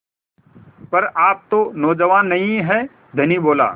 पर आप तो नौजवान नहीं हैं धनी बोला